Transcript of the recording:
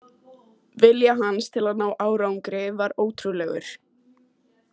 Vilji hans til að ná árangri var ótrúlegur.